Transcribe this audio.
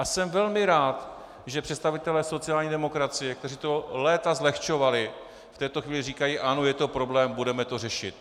A jsem velmi rád, že představitelé sociální demokracie, kteří to léta zlehčovali, v této chvíli říkají "ano, je to problém, budeme to řešit".